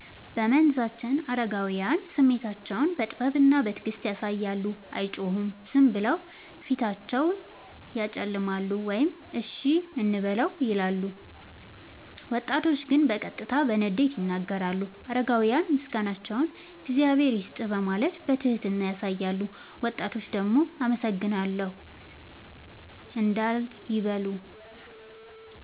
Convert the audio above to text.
በመንዛችን አረጋውያን ስሜታቸውን በጥበብና በትዕግስት ያሳያሉ፤ አይጮሁም፤ ዝም ብለው ፊታቸውን ያጨለማሉ ወይም “እሺ እንበለው” ይላሉ። ወጣቶች ግን በቀጥታ በንዴት ይናገራሉ። አረጋውያን ምስጋናቸውን “እግዚአብሔር ይስጥህ” በማለት በትህትና ያሳያሉ፤ ወጣቶች ደግሞ “አመሰግናለሁ” እንዳል ይበሉ።